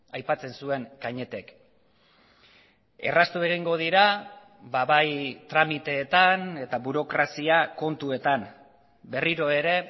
aipatzen zuen cañetek erraztu egingo dira bai tramiteetan eta burokrazia kontuetan berriro ere